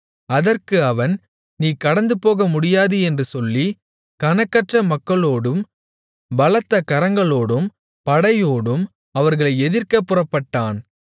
அதற்கு அவன் நீ கடந்துபோக முடியாது என்று சொல்லி கணக்கற்ற மக்களோடும் பலத்த கரங்களோடும் படையோடும் அவர்களை எதிர்க்கப் புறப்பட்டான்